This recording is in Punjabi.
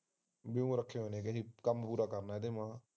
ਦਿਓਰ ਰੱਖੇ ਹੋਏ ਨੀ ਕਹਿੰਦੀ ਕੰਮ ਪੂਰਾ ਕਰਨਾ ਇਹਦੇ ਵਾਗ